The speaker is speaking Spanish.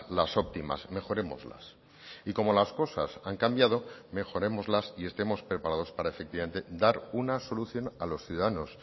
las óptimas mejorémoslas y como las cosas han cambiado mejorémoslas y estemos preparados para efectivamente dar una solución a los ciudadanos